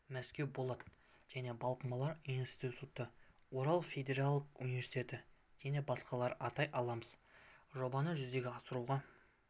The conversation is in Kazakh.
мәскеу болат және балқымалар институты урал федералдық университеті және басқаларды атай аламыз жобаны жүзеге асыруға